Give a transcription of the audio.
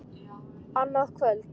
Annað kvöld.